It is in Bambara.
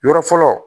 Yɔrɔ fɔlɔ